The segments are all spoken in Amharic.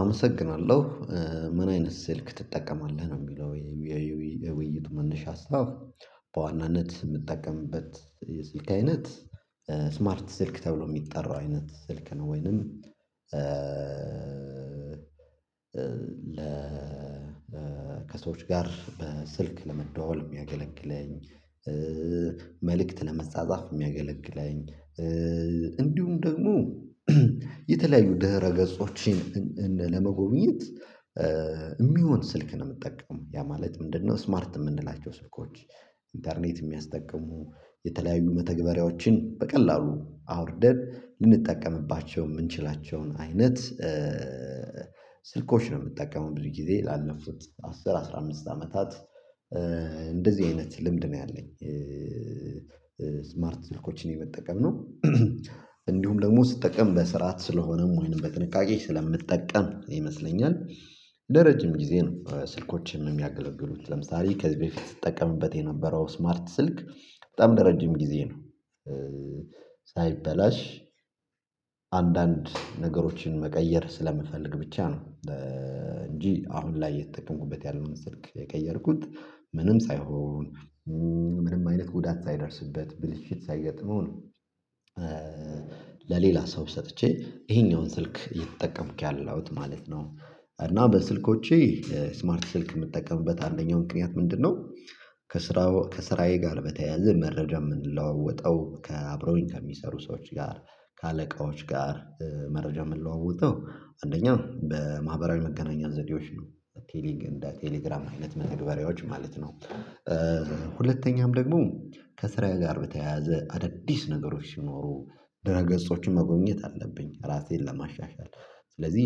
አመሰግናለሁ። ምን አይነት ስልክ ትጠቀማለህ? ነው የሚለው የውይይቱ መነሻ ሀሳብ። በዋናነት የምጠቀምበት የስልክ አይነት ስማርት ስልክ ተብሎ የሚጠራው አይነት ስልክ ነው ወይንም ለ ከሰዎች ጋር ስልክ ለመደዋወል የሚያገለግለኝ መልእክት ለመጻጻፍ የሚያገለግለኝ እንዲሁም ደግሞ የተለያዩ ድህረ ገጾችን ለመጎብኘት የሚሆን ስልክ ነው የምጠቀመው። ያ ማለት ምንድነው ስማርት የምንላቸው ስልኮች፤ ኢንተርኔት የሚያስጠቅሙ የተለያዩ መተግበሪያዎችን በቀላሉ አውርደን ልንጠቀምባቸው የምንችላቸውን አይነት ስልኮች ነው የምጠቀመው ብዙ ጊዜ። ላለፉት አስር አስራ አምስት አመታት እንደዚህ አይነት ልምድ ነው ያለኝ። ስማርት ስልኮችን የመጠቀም ነው። እንዲሁም ደግሞ ስትጠቀም በስርዓት ስለሆነም ወይንም በጥንቃቄ ስለምጠቀም ይመስለኛል ለረጅም ጊዜ ነው ስልኮቼም የሚያገለግሉት። ለምሳሌ ከዚህ በፊት ስጠቀምበት የነበረው ስማርት ስልክ በጣም ለረጅም ጊዜ ነው ሳይበላሽ አንዳንድ ነገሮችን መቀየር ስለምፈልግ ብቻ ነው እንጂ አሁን ላይ እየተጠቀምኩበት ያለውን ስልክ የቀየርኩት ምንም ሳይሆን ምንም አይነት ጉዳት ሳይደርስበት ብልሽት ሳይገጥመው ነው ለሌላ ሰው ሰጥቼ ይሄኛውን ስልክ እየተጠቀምኩ ያለሁት ማለት ነው። እና በስልኮቼ ስማርት ስልክ የምጠቀምበት አንደኛው ምክንያት ምንድነው ከስራ ከስራዬ ጋር በተያያዘ መረጃ የምንለዋወጠው ከአብረውኝ ከሚሰሩ ሰዎች ጋር፤ ከአለቃዎች ጋር መረጃ የምለዋወጠው አንደኛው በማህበራዊ መገናኛ ዘዴዎች ነው። እንደ ቴሌግራም አይነት መተግበሪያዎች ማለት ነው። ሁለተኛም ደግሞ ከስራዬ ጋር በተያያዘ አዳዲስ ነገሮች ሲኖሩ ድህረገጾችን መጎብኘት አለብኝ ራሴን ለማሻሻል። ስለዚህ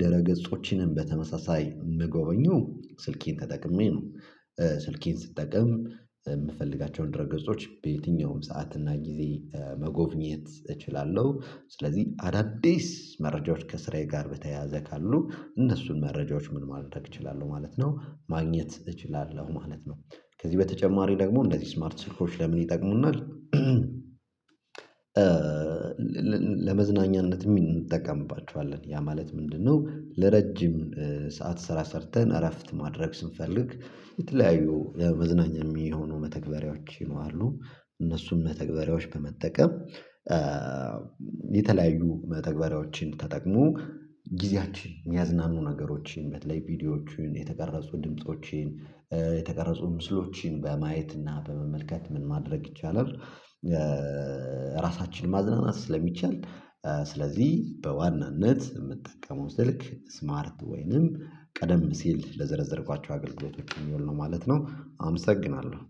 ድህረገጾችንም በተመሳሳይ የምጎበኘው ስልኬን ተጠቅሜ ነው። ስልኬን ስትጠቀም የምፈልጋቸውን ድህረገጾች በየትኛውም ሰዓት እና ጊዜ መጎብኘት እችላለሁ። ስለዚህ አዳዲስ መረጃዎች ከስራዬ ጋር በተያያዘ ካሉ እነሱን መረጃዎች ምን ማድረግ እችላለሁ ማለት ነው ማግኘት እችላለሁ ማለት ነው። ከዚህ በተጨማሪ ደግሞ እንደዚህ ስማርት ስልኮች ለምን ይጠቅሙናል ለመዝናኛነት እንጠቀምባቸዋለን። ያ ማለት ምንድነው ለረጅም ሰዓት ስራ ሰርተን እረፍት ማድረግ ስንፈልግ የተለያዩ ለመዝናኛ የሚሆኑ መተግበሪያዎችም አሉ። እነሱን መተግበሪያዎች በመጠቀም የተለያዩ መተግበሪያዎችን ተጠቅሞ ጊዜያችን የሚያዝናኑ ነገሮችን በተለይ ቪዲዮዎችን የተቀረጹ ድምፆችን የተቀረጹ ምስሎችን በማየት እና በመመልከት ምን ማድረግ ይቻላል ራሳችንን ማዝናናት ስለሚቻል ስለዚህ በዋናነት የምጠቀመው ስልክ ስማርት ወይንም ቀደም ሲል ለዘረዘርኳቸው አገልግሎቶች የሚውል ነው ማለት ነው። አመሰግናለሁ።